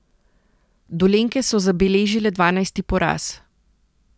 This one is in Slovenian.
Dolenjke so zabeležile dvanajsti poraz.